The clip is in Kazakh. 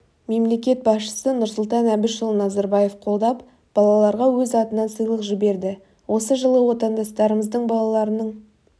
мемлекет басшысы нұрсұлтан әбішұлы назарбаев қолдап балаларға өз атынан сыйлық жіберді осы жылы отандастарымыздың балаларының